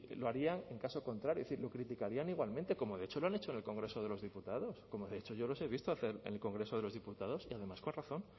lo harían en caso contrario es decir lo criticarían igualmente como de hecho lo han hecho en el congreso de los diputados como de hecho yo les he visto hacer en el congreso de los diputados y además con razón